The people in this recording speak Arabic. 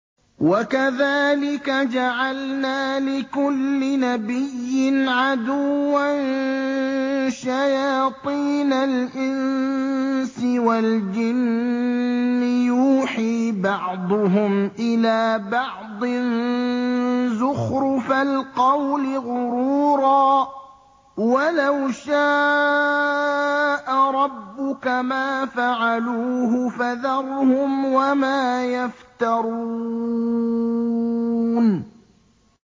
وَكَذَٰلِكَ جَعَلْنَا لِكُلِّ نَبِيٍّ عَدُوًّا شَيَاطِينَ الْإِنسِ وَالْجِنِّ يُوحِي بَعْضُهُمْ إِلَىٰ بَعْضٍ زُخْرُفَ الْقَوْلِ غُرُورًا ۚ وَلَوْ شَاءَ رَبُّكَ مَا فَعَلُوهُ ۖ فَذَرْهُمْ وَمَا يَفْتَرُونَ